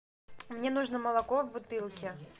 мне нужно молоко в бутылке